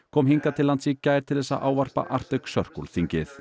kom hingað til lands í gær til þess að ávarpa Arctic Circle þingið